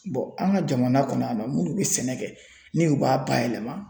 an ka jamana kɔnɔ yan nɔ munnu bɛ sɛnɛ kɛ ni u b'a bayɛlɛma